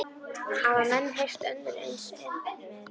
Hafa menn heyrt önnur eins endemi!